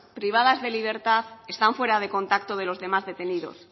privadas de libertad están fuera de contacto de los demás detenidos